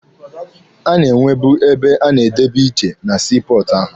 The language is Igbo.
A na-enwebu ebe a na-edebe iche na sii pọọtụ ha.